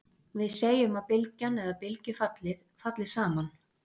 Við segjum að bylgjan eða bylgjufallið, falli saman.